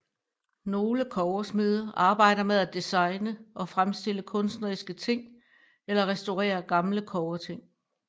Nogle kobbersmede arbejder med at designe og fremstille kunstneriske ting eller restaurere gamle kobberting